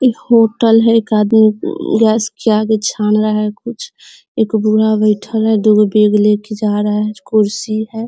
एक होटल है एक आदमी गैस के आगे छान रहा है कुछ | एगो बूढ़ा बैठल है दू गो बैग ले कर जा रहा है कुर्सी है।